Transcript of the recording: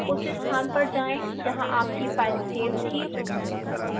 उस स्थान पर जाएं जहां आपकी file सेव थी